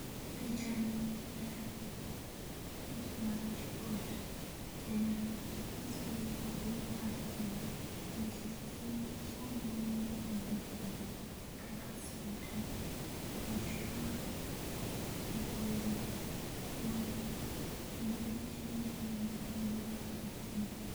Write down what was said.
Pichani lero picha mar joot kendo nyiso ni gimor ahinya nikech gin gi chiemo mang'eny embelegi kaka soda, machunga ,rabolo, kuon kendo gichalo joma nigi mor ahinya.